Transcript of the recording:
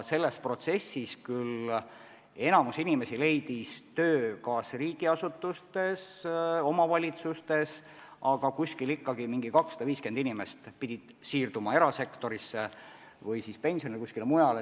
Selles protsessis küll enamik inimesi leidis uue töö kas riigiasutustes või omavalitsustes, aga ikkagi umbes 250 inimest pidi siirduma erasektorisse või pensionile.